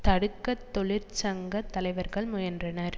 தடுக்க தொழிற்சங்க தலைவர்கள் முயன்றனர்